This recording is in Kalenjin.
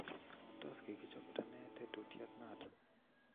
Tos kikichapto ne tetutiet noto?